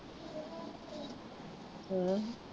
ਹਾਂ